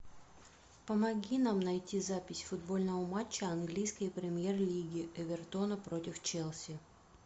помоги нам найти запись футбольного матча английской премьер лиги эвертона против челси